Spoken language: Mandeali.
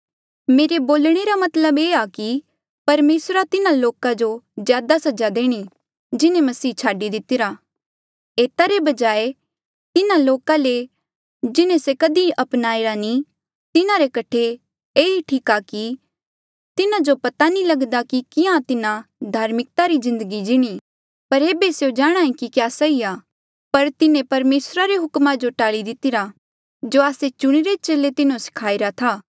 मेरे बोलणे रा मतलब ये आ कि परमेसरा तिन्हा लोका जो ज्यादा सजा देणी जिन्हें मसीह छाडी दितिरा एता रे बजाय तिन्हा लोका ले जिन्हें से कधी अपनाईरा नी तिन्हारे कठे ये ई ठीक था कि तिन्हा जो पता नी लगदा कि किहां तिन्हा धार्मिकता री जिन्दगी जीणी पर ऐबे स्यों जाणांहे कि क्या सही आ पर तिन्हें परमेसरा रे हुकमा जो टाल्ली दितिरा जो आस्से चुणिरे चेले तिन्हो सखाईरा था